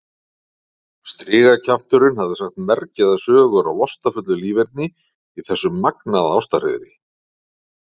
Strigakjafturinn hafði sagt mergjaðar sögur af lastafullu líferni í þessu magnaða ástarhreiðri.